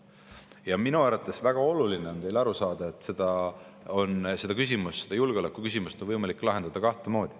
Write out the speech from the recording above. Ja minu arvates on väga oluline teil aru saada, et seda julgeolekuküsimust on võimalik lahendada kahte moodi.